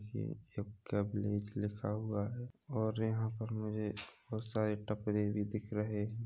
यह club village लिखा हुआ है और यहाँ पर मुझे बहुत सारे कपड़े भी दिख रहे है।